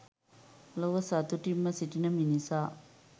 ලොව සතුටින්ම සිටින මිනිසා